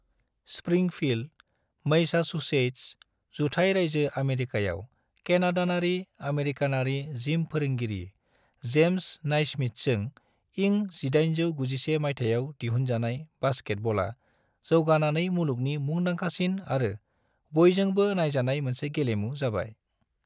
Springfield, Massachusetts, जुथाय रायजो आमेरिकायाव केनाडानारि-आमेरिकानारि जिम फोरोंगिरि जेम्स नाइस्मिथजों इं 1891 माइथायाव दिहुनजानाय बास्केटब'ला जौगानानै मुलुगनि मुंदांखासिन आरो बयजोंबो नायजानाय मोनसे गेलेमु जाबाय।